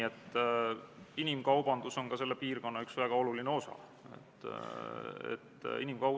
Ettekandja on riigikaitsekomisjoni liige Alar Laneman.